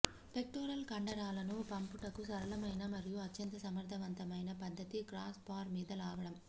pectoral కండరాలను పంపుటకు సరళమైన మరియు అత్యంత సమర్థవంతమైన పద్ధతి క్రాస్ బార్ మీద లాగడం